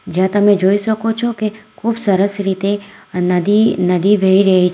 જ્યાં તમે જોઈ શકો છો કે ખૂબ સરસ રીતે નદી નદી વહી રહી છે.